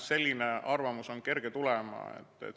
Selline arvamus on kerge tulema.